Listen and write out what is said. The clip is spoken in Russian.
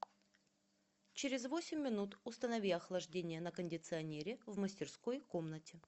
через восемь минут установи охлаждение на кондиционере в мастерской комнате